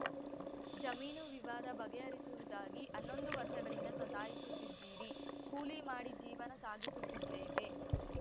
ಜಮೀನು ವಿವಾದ ಬಗೆಹರಿಸುವುದಾಗಿ ಹನ್ನೊಂದು ವರ್ಷಗಳಿಂದ ಸತಾಯಿಸುತ್ತಿದ್ದೀರಿ ಕೂಲಿ ಮಾಡಿ ಜೀವನ ಸಾಗಿಸುತ್ತಿದ್ದೇವೆ